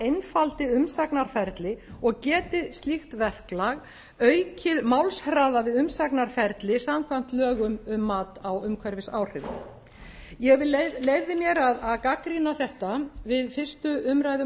einfaldi umsagnarferli og geti slíkt verklag aukið málshraða við umsagnarferli samkvæmt lögum um mat á umhverfisáhrifum ég leyfði mér að gagnrýna þetta við fyrstu umræðu